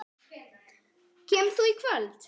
Kemur þú í kvöld?